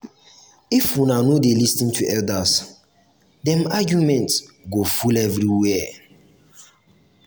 if una no dey lis ten to elders dem argument go full everywhere.